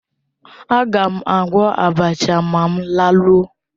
Agam agwọ́ abacha ma m laruo